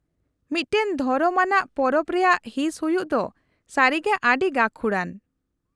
-ᱢᱤᱫᱴᱟᱝ ᱫᱷᱚᱨᱚᱢ ᱟᱱᱟᱜ ᱯᱚᱨᱚᱵᱽ ᱨᱮᱭᱟᱜ ᱦᱤᱸᱥ ᱦᱩᱭᱩᱜ ᱫᱚ ᱥᱟᱹᱨᱤᱜᱮ ᱟᱹᱰᱤ ᱜᱟᱹᱠᱷᱩᱲᱟᱱ ᱾